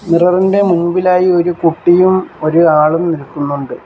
Mirror ഇൻ്റെ മുമ്പിലായി ഒരു കുട്ടിയും ഒര് ആളും നിൽക്കുന്നുണ്ട്.